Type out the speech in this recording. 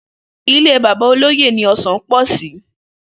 Ilé bàbá olóyè ni o̩sàn pò̩ sí